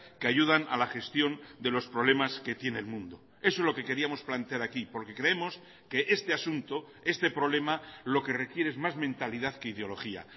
que ayudan a la gestión de los problemas que tiene el mundo eso es lo que queríamos plantear aquí porque creemos que este asunto este problema lo que requiere es más mentalidad que ideología